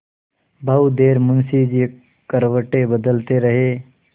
बहुत देर मुंशी जी करवटें बदलते रहे